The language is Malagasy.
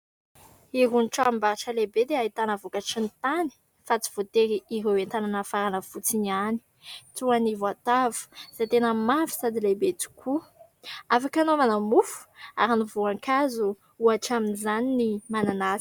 Irony tranom-barotra lehibe dia ahitana vokatry ny tany, fa tsy voatery ireo entana nafarana fotsiny ihany : toa ny voatavo, izay tena mavo sady lehibe tokoa, afaka anaovana mofo ; ary ny voankazo, ohatra amin'izany ny mananasy.